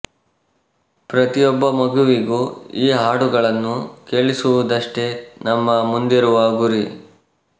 ಪ್ರತಿಯೊಬ್ಬ ಮಗುವಿಗೂ ಈ ಹಾಡುಗಳನ್ನು ಕೇಳಿಸುವುದಷ್ಟೇ ನಮ್ಮ ಮುಂದಿರುವ ಗುರಿ